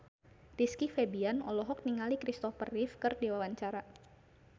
Rizky Febian olohok ningali Christopher Reeve keur diwawancara